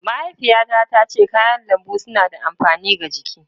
Mahaifiyata tace kayan lambu suna da amfani ga jiki.